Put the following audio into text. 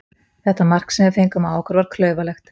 Þetta mark sem við fengum á okkur var klaufalegt.